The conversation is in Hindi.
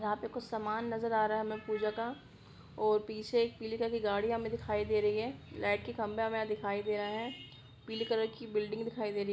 यहाँ पर कुछ समान नज़र आ रहा है हमें पूजा का और पीछे एक पीली कलर की गाड़ी हमें दिखाई दे रही है ब्लैक खंबा दिखाई दे रहा है पीली कलर की बिल्डिंग दिखाई दे रही--